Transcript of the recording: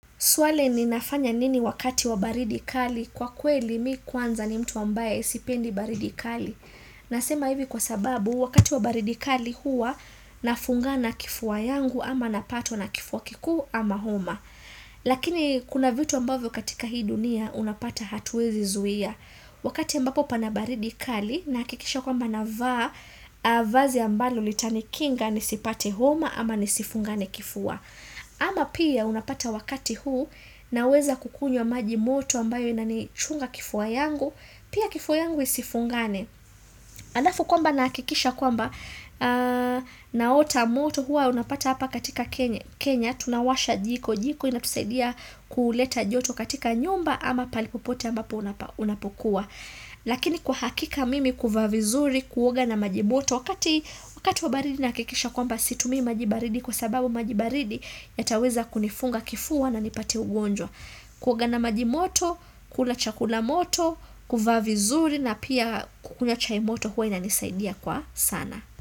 Swali ni nafanya nini wakati wa baridi kali kwa kweli mi kwanza ni mtu ambaye sipendi baridi kali. Nasema hivi kwa sababu wakati wa baridi kali huwa nafungana kifua yangu ama napatwa na kifua kikuu ama homa. Lakini kuna vitu ambavyo katika hii dunia unapata hatuwezi zuia. Wakati ambapo pana baridi kali nahakikisha kwamba navaa vazi ambalo litanikinga nisipate homa ama nisifungane kifua. Ama pia unapata wakati huu naweza kukunywa maji moto ambayo inanichunga kifuwma yangu Pia kifua yangu isifungane Alafu kwamba nahakikisha kwamba naota moto hua unapata hapa katika Kenya Tunawasha jiko jiko inatusaidia kuuleta joto katika nyumba ama pali popote ambapo unapokuwa Lakini kwa hakika mimi kuvaa vizuri kuoga na maji moto wakati wa baridi nahakikisha kwamba situmii maji baridi kwa sababu maji baridi yataweza kunifunga kifua na nipate ugonjwa kuoga na maji moto, kula chakula moto, kuvaa vizuri na pia kukunywa chai moto huwa inanisaidia kwa sana.